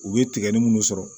U ye tigɛli munnu sɔrɔ